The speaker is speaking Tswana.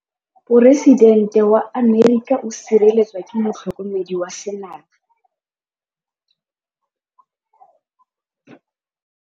Poresitêntê wa Amerika o sireletswa ke motlhokomedi wa sengaga.